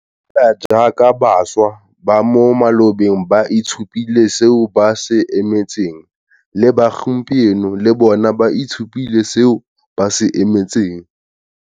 Fela jaaka bašwa ba mo malobeng ba itshupile seo ba se emetseng, le ba gompieno le bona ba itshupile seo ba se emetseng.